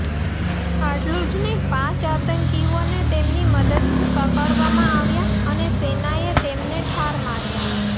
આટલું જ નહીં પાંચ આતંકીઓને તેમની મદદથી પકડવામાં આવ્યા અને સેનાએ તેમને ઠાર માર્યા